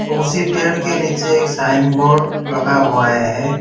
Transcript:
उसी पेड़ के नीचे एक साइन बोर्ड लगा हुआ है।